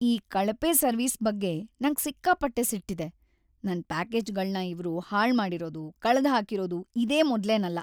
ಈ ಕಳಪೆ ಸರ್ವಿಸ್ ಬಗ್ಗೆ ನಂಗ್ ಸಿಕ್ಕಾಪಟ್ಟೆ ಸಿಟ್ಟಿದೆ, ನನ್ ಪ್ಯಾಕೇಜ್‌ಗಳ್ನ ಇವ್ರು ಹಾಳ್ಮಾಡಿರೋದು, ಕಳ್ದ್‌ಹಾಕಿರೋದು ಇದೇ ಮೊದ್ಲೇನಲ್ಲ.